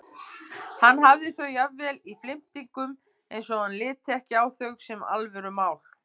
Hann hafði þau jafnvel í flimtingum eins og hann liti ekki á þau sem alvörumál.